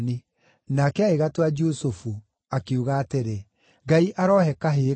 Nake agĩgatua Jusufu, akiuga atĩrĩ, “Ngai arohe kahĩĩ kangĩ!”